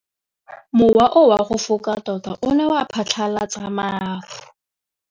Mowa o wa go foka tota o ne wa phatlalatsa maru.